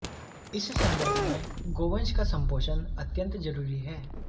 इस संदर्भ में गोवंश का संपोषण अत्यंत जरूरी है